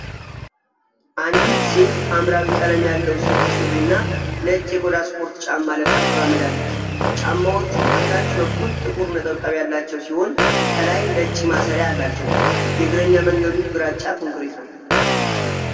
አንዲት ሴት ሐምራዊ ቀለም ያለው ሰፊ ሱሪና ነጭ የቆዳ ስፖርት ጫማ ለብሳ ትራመዳለች፡፡ ጫማዎቹ ከታች በኩል ጥቁር ነጠብጣብ ያላቸው ሲሆን ከላይ ነጭ ማሰሪያ አላቸው፡፡ የእግረኛ መንገዱ ግራጫ ኮንክሪት ነው፡፡